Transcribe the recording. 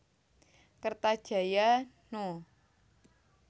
Kertajaya No